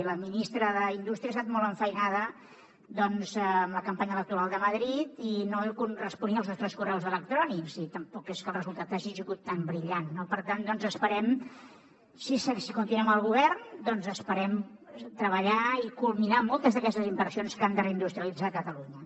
i la ministra d’indústria estat molt enfeinada doncs amb la campanya electoral de madrid i no responia als nostres correus electrònics i tampoc és que el resultat hagi sigut tan brillant no per tant esperem si continuem al govern doncs esperem treballar i culminar moltes d’aquestes inversions que han de reindustrialitzar catalunya